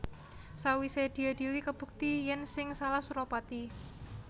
Sawisé diadhili kabukti yèn sing salah Suropati